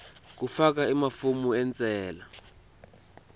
kufaka emafomu entsela